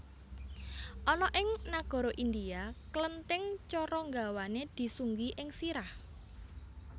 Ana ing nagara India klenthing cara nggawané disunggi ing sirah